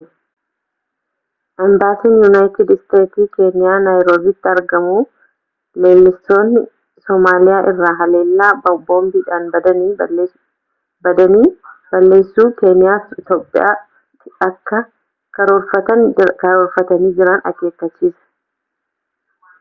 imbaasiin yuunaayitid isteetsii keeniyaa naayiroobiitti argamu leellistoonni somaaliyaa irraa haleellaa boombii badanii balleessuu keeniyaa fi iitoophiyaatti akka karoorfatanii jiran akeekkachiise